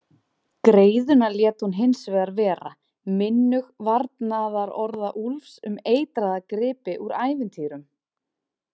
Greiðuna lét hún hinsvegar vera, minnug varnaðarorða Úlfs um eitraða gripi úr ævintýrum.